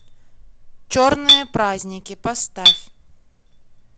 черные праздники поставь